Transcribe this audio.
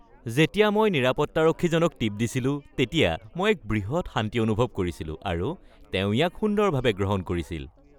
যেতিয়া মই নিৰাপত্তাৰক্ষীজনক টিপ দিছিলো তেতিয়া মই এক বৃহৎ শান্তি অনুভৱ কৰিছিলো, আৰু তেওঁ ইয়াক সুন্দৰভাৱে গ্ৰহণ কৰিছিল।